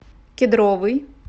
кедровый